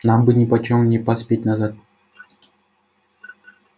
нам бы нипочём не поспеть назад